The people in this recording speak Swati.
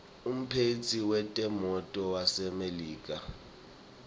umphetsi wetemnotto wasemelika